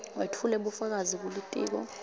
wetfule bufakazi kulitiko